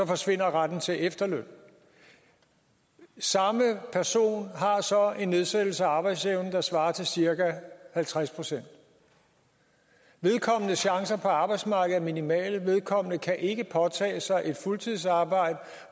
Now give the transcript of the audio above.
forsvinder retten til efterløn samme person har så en nedsættelse af arbejdsevnen der svarer til cirka halvtreds procent vedkommendes chancer på arbejdsmarkedet er minimale vedkommende kan ikke påtage sig et fuldtidsarbejde